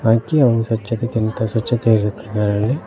ಹಾಗು ಸ್ವಚ್ಛತೆತಿಂತ ಸ್ವಚ್ಚತೆ ಇರುತ್ತೆ ಅದರಲ್ಲಿ--